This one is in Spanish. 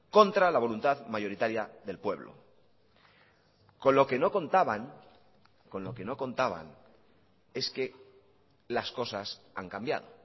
contra la voluntad mayoritaria del pueblo con lo que no contaban con lo que no contaban es que las cosas han cambiado